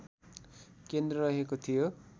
केन्द्र रहेको थियो